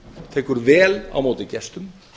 tekur vel á móti gestum